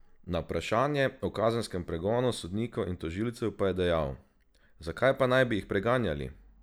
Na vprašanje o kazenskem pregonu sodnikov in tožilcev pa je dejal: "Za kaj pa naj bi jih preganjali?